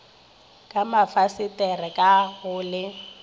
ka mafasetere ka go le